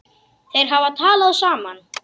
Þeir hafa talað saman.